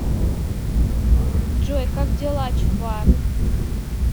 джой как дела чувак